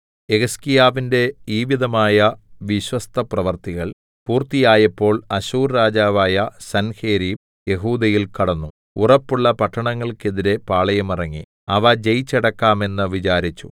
യെഹിസ്കീയാവിന്റെ ഈവിധമായ വിശ്വസ്തപ്രവൃത്തികൾ പൂർത്തിയായപ്പോൾ അശ്ശൂർ രാജാവായ സൻഹേരീബ് യെഹൂദയിൽ കടന്നു ഉറപ്പുള്ള പട്ടണങ്ങൾക്കെതിരെ പാളയമിറങ്ങി അവ ജയിച്ചടക്കാം എന്ന് വിചാരിച്ചു